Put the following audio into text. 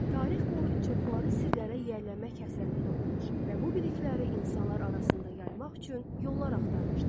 Tarix boyu çoxları sirlərə yiyələnmək həsrətində olmuş və bu bilikləri insanlar arasında yaymaq üçün yollar axtarmışdı.